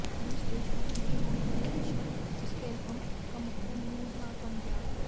रूस देशभक्ति की रूढ़िवादी दिशा उसके एलबम का मुख्य मूल भाव बन गया